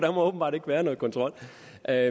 at